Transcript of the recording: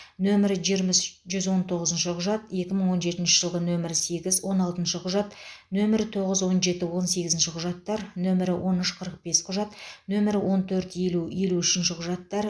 нөмірі жиырма үш жүз он тоғызыншы құжат екі мың он жетінші жылғы нөмірі сегіз он алтыншы құжат нөмірі тоғыз он жеті он сегізінші құжаттар нөмірі он үш қырық бес құжат нөмірі он төрт елу елу үшінші құжаттар